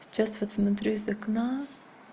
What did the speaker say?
сейчас вот смотрю из окна